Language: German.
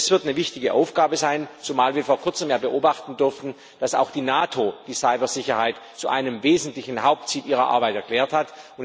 Das wird eine wichtige Aufgabe sein, zumal wir vor kurzem beobachten durften, dass auch die NATO die Cybersicherheit zu einem wesentlichen Hauptziel ihrer Arbeit erklärt hat.